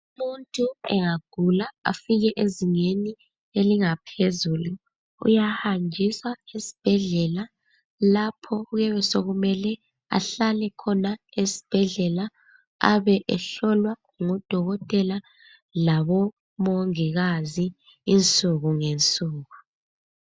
Umuntu engagula afike ezingeni elingaphezulu uyahanjiswa esibhedlela lapho kuyabe sokumele ahlale khona esibhedlela abe ehlolwa ngodokotela labomongikazi insuku ngensuku.